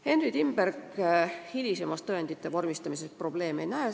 Henry Timberg hilisemas tõendite vormistamises probleeme ei näe.